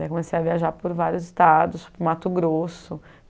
Daí eu comecei a viajar por vários estados, para o Mato Grosso.